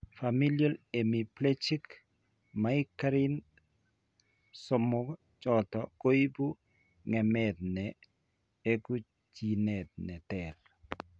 Familial Hemiplegic Migraine somok choto koibu ng'emet ne eku jinit ne ter.